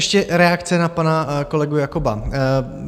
Ještě reakce na pana kolegu Jakoba.